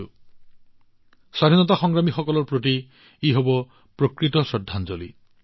যিটো সঁচাকৈয়ে স্বাধীনতা সংগ্ৰামীসকলৰ বাবে এক প্ৰকৃত শ্ৰদ্ধাঞ্জলি হব